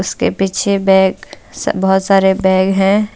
इसके पीछे बैग बहुत सारे बैग है।